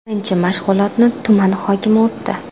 Birinchi mashg‘ulotni tuman hokimi o‘tdi.